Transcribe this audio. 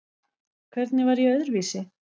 Hvernig var ég öðruvísi?